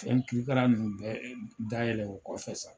Fɛn kirikara nunnu bɛɛ da yɛlɛ o kɔfɛ sa